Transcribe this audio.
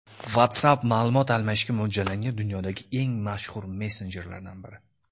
WhatsApp ma’lumot almashishga mo‘ljallangan dunyodagi eng mashhur messenjerlardan biri.